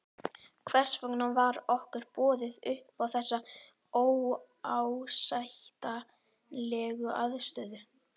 Hvers vegna var okkur boðið upp á þessa óásættanlegu aðstöðu?